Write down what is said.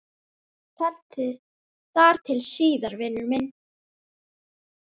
Þar til síðar, vinur minn.